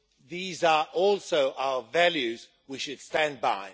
these are also our values we should stand by.